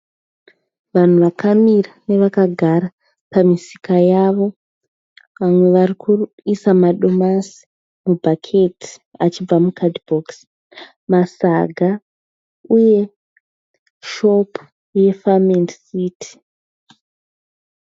Vanhu vakamira nevakagara pamisika yavo vamwe varikuisa madomasi mu bhaketi achibva mukadhibokisi. Masaga uye shopu ye farm and city.